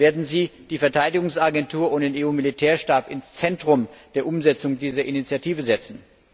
Werden Sie die Verteidigungsagentur und den EU Militärstab ins Zentrum der Umsetzung dieser Initiative setzen?